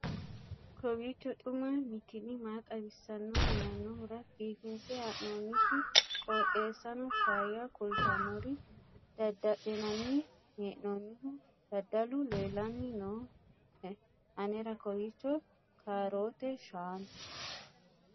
kowiicho xuma mtini maa xawissanno yaannohura biifinse haa'noonniti qooxeessano faayya kultannori dada'linanni hee'noonnihu dadalu leellanni nooe anera kowiicho kaaroote shaanu